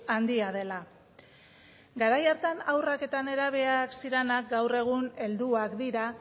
handia dela garai hartan haurrak eta nerabeak zirenak gaur egun helduak dira